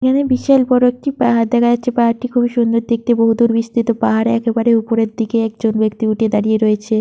এখানে বিশাল বড় একটি পাহাড় দেখা যাচ্ছে। পাহাড় টি খুবই সুন্দর দেখতে। বহুদূর বিস্তৃত। পাহাড়ের একেবারে ওপরের দিকে একজন ব্যক্তি উঠে দাঁড়িয়ে রয়েছে।